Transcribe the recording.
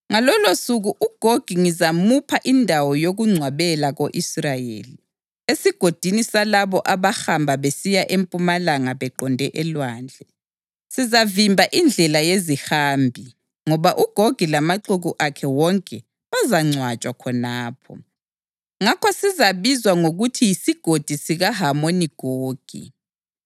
Ngalolosuku uGogi ngizamupha indawo yokungcwabela ko-Israyeli, esigodini salabo abahamba besiya empumalanga beqonde elwandle. Sizavimba indlela yezihambi, ngoba uGogi lamaxuku akhe wonke bazangcwatshwa khonapho. Ngakho sizabizwa ngokuthi yisiGodi sikaHamoni Gogi.